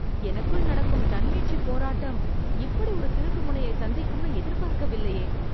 எனக்குள் நடக்கும் தன்மீட்சிப் போராட்டம் இப்படி ஒரு திருப்புமுனையைச் சந்திக்கும் நு எதிர்பார்க்க வில்லையே